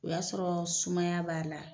O y'a sɔrɔ sumaya b'a la.